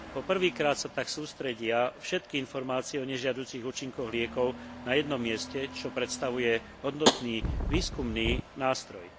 Po prvýkrát sa tak sústredia všetky informácie o nežiaducich účinkoch liekov na jednom mieste, čo predstavuje hodnotný výskumný nástroj.